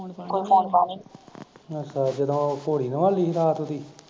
ਅੱਛਾ ਜਦੋਂ ਘੋੜੀ ਨਵਾਲੀ ਸੀ ਰਾਤ ਉਹਦੀ